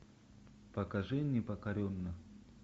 покажи непокоренный